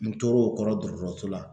N tor'o kɔrɔ dɔgɔtɔrɔso la